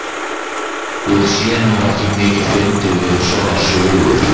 Ég sé nú ekki mikið fyndið við svona sögur.